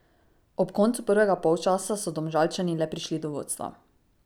Ob koncu prvega polčasa so Domžalčani le prišli do vodstva.